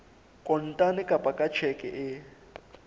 kontane kapa ka tjheke e